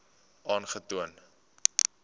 aangetoon